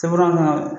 Seburan kɔnɔ